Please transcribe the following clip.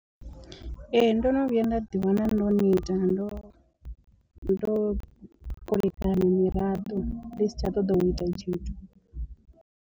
Ee ndo no vhuya nda ḓi wana ndo neta ndo ndo kulekana miraḓo ndi si tsha ṱoḓa u ita tshithu.